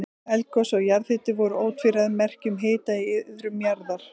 Eldgos og jarðhiti voru ótvíræð merki um hita í iðrum jarðar.